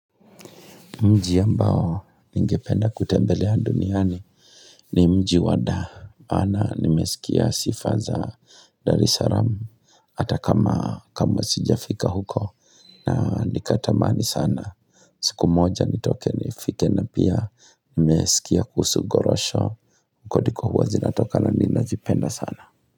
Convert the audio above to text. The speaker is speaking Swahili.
Mji ambao ningependa kutembelea duniani ni mji wa Dar maana nimesikia sifa za Dar es Salam ata kama kama sijafika huko na nikatamani sana siku moja nitoke nifike na pia nimesikia kuhusu gorosho kodiko huwa zinatoka na ninazipenda sana.